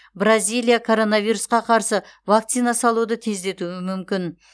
бразилия коронавирусқа қарсы вакцина салуды тездетуі мүмкін